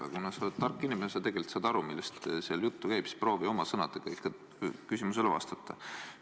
Aga kuna sa oled tark inimene, siis sa tegelikult saad aru, millest seal jutt käib, nii et proovi oma sõnadega ikka küsimusele vastata.